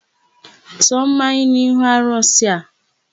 Tụọ mmanya n'ihu arụsị a!